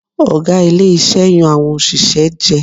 Ọ̀gá ilé iṣẹ́ yan àwọn òṣìṣẹ́ jẹ.